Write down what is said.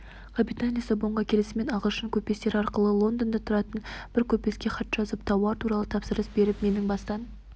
капитан лиссабонға келісімен ағылшын көпестері арқылы лондонда тұратын бір көпеске хат жазып тауар туралы тапсырыс беріп менің бастан